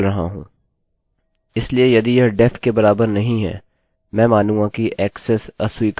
इसलिए यदि यह def के बराबर नहीं हैमैं मानूँगा कि ऐक्सेस अस्वीकार हो गया है